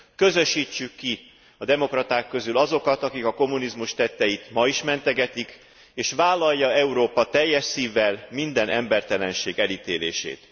Közösítsük ki a demokraták közül azokat, akik a kommunizmus tetteit ma is mentegetik, és vállalja Európa teljes szívvel minden embertelenség elítélését.